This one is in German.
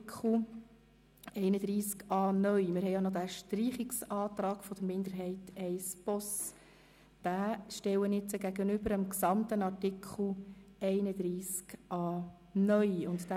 Ich stelle den Streichungsantrag der GSOK-Minderheit I/ Boss dem gesamten Artikel 31a (neu) gegenüber.